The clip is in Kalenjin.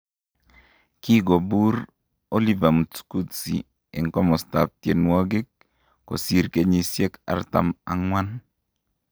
Kikobur Oliver Mtukudzi en komastab tienwogik kosir kenyisiek artam ang'wan